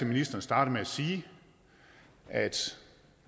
ministeren startede med at sige at